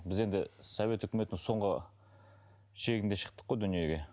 біз енді совет өкіметінің соңғы шегінде шықтық қой дүниеге